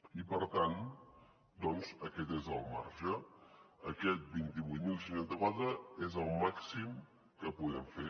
i per tant doncs aquest és el marge aquests vint vuit mil cent i seixanta quatre és el màxim que podem fer